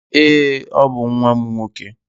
Èé, ọ bụ nwa m nwoke.